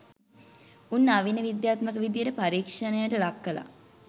උන් නවීන විද්‍යාත්මක විදියට පරීක්ෂණයට ලක් කලා